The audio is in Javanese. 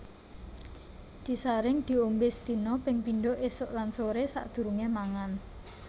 Disaring diombé sedina ping pindho ésuk lan soré sadurungé mangan